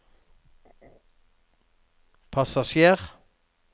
passasjer